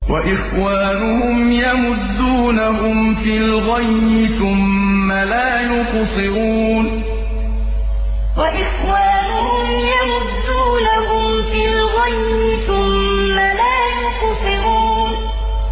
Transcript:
وَإِخْوَانُهُمْ يَمُدُّونَهُمْ فِي الْغَيِّ ثُمَّ لَا يُقْصِرُونَ وَإِخْوَانُهُمْ يَمُدُّونَهُمْ فِي الْغَيِّ ثُمَّ لَا يُقْصِرُونَ